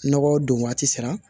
Nɔgɔ don waati sera